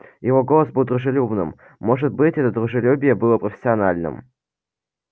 его голос был дружелюбным может быть это дружелюбие было профессиональным